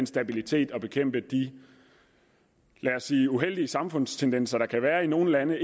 stabilitet og bekæmpe de lad os sige uheldige samfundstendenser der kan være i nogle lande